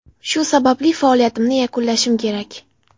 Shu sababli faoliyatimni yakunlashim kerak.